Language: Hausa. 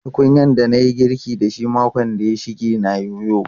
Tukunyan da na yi girkin da shi makon da ya shige na yoyo.